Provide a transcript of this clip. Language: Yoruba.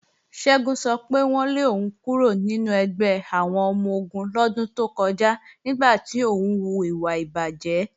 Ṣẹ́gun sọ pé wọ́n lé òun kúrò nínú ẹgbẹ́ àwọn ọmọ-ogun lọ́dún tó kọjá nígbà tí òun hùwà ìbàjé.